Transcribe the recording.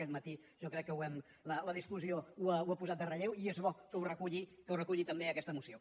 aquest matí jo crec que la discussió ho ha posat en relleu i és bo que ho reculli també aquesta moció